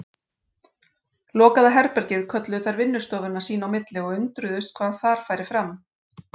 Lokaða herbergið kölluðu þær vinnustofuna sín í milli og undruðust, hvað þar færi fram.